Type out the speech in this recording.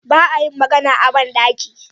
Ba a yin magana a ban ɗaki.